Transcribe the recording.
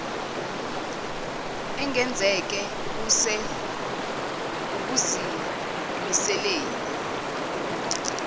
engenzeke kuse ukuzimiseleni